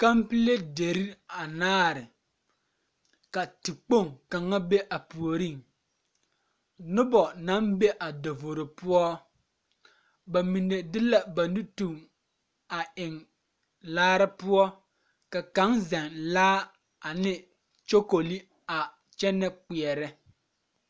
Kampile deri anaare ka tekpoŋ kaŋa be a puoriŋ noba naŋ be a davoro poɔ ba mine de la ba nu tuɡi eŋ laare poɔ ka kaŋ zɛŋ laa ane kyokole a kyɛnɛ kpeɛrɛ.